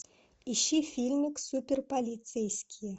ищи фильмик супер полицейские